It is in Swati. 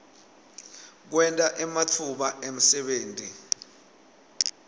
kwenta ematfuba emsebenti